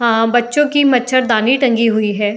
आ बच्चों की मछरदानी टंगी हुई है।